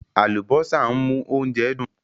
Àlùbósà ń mú oúnjẹ dùn.